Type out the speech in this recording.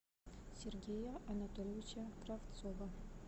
сергея анатольевича кравцова